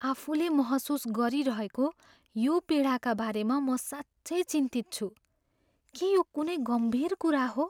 आफूले महसुस गरिरहेको यो पीडाका बारेमा म साँच्चै चिन्तित छु। के यो कुनै गम्भीर कुरा हो?